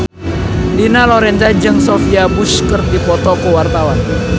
Dina Lorenza jeung Sophia Bush keur dipoto ku wartawan